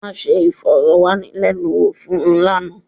A ṣe ìfọ̀rọ̀wánilẹ́nuwò fún un lánàá.